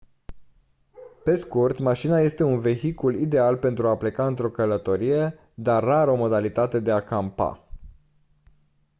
pe scurt mașina este un vehicul ideal pentru a pleca într-o călătorie dar rar o modalitate de a «campa».